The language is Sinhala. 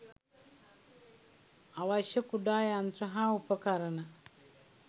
අවශ්‍ය කුඩා යන්ත්‍ර හා උපකරණ